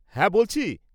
হ্যাঁ, বলছি।